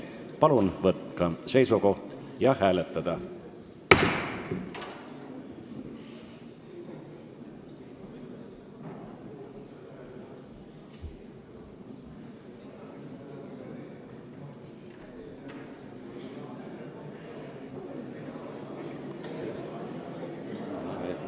Palun võtta seisukoht ja hääletada!